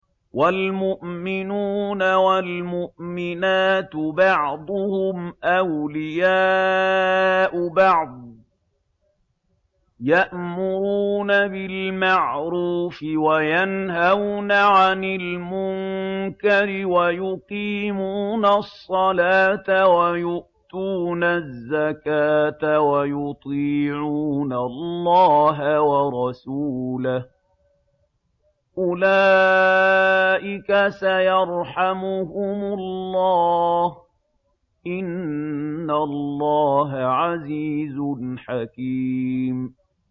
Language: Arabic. وَالْمُؤْمِنُونَ وَالْمُؤْمِنَاتُ بَعْضُهُمْ أَوْلِيَاءُ بَعْضٍ ۚ يَأْمُرُونَ بِالْمَعْرُوفِ وَيَنْهَوْنَ عَنِ الْمُنكَرِ وَيُقِيمُونَ الصَّلَاةَ وَيُؤْتُونَ الزَّكَاةَ وَيُطِيعُونَ اللَّهَ وَرَسُولَهُ ۚ أُولَٰئِكَ سَيَرْحَمُهُمُ اللَّهُ ۗ إِنَّ اللَّهَ عَزِيزٌ حَكِيمٌ